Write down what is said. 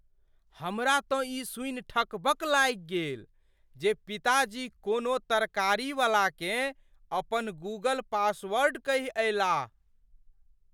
हमरा तँ ई सूनि ठकबक लागि गेल जे पिताजी कोनो तरकारीवलाकेँ अपन गूगल पासवॉर्ड कहि अयलाह।